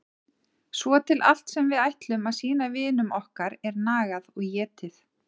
Svo til allt sem við ætlum að sýna vinum okkar er nagað og étið.